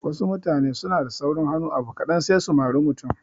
Wasu mutane suna da saurin hannu abu kaɗan sai su mari mutum